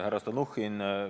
Härra Stalnuhhin!